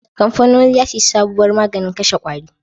Kamfanoni za su yi sabuwar maganin kashe ƙwari